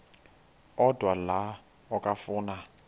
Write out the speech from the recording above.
odwa la okafuna